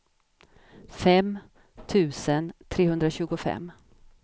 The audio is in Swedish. fem tusen trehundratjugofem